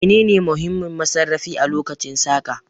Menene muhimmin masarrafi a lokacin saƙa